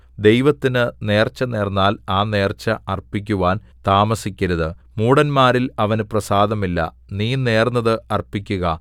ദൈവത്തിന് നേർച്ച നേർന്നാൽ ആ നേർച്ച അർപ്പിക്കുവാൻ താമസിക്കരുത് മൂഢന്മാരിൽ അവന് പ്രസാദമില്ല നീ നേർന്നത് അർപ്പിക്കുക